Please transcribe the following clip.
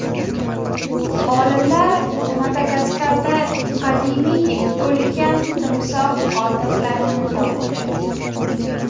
Olimlar Madagaskarda qadimiy ulkan timsoh qoldiqlarini topdi.